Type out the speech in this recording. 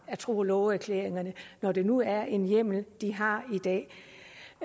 af tro og love erklæringerne når det nu er en hjemmel de har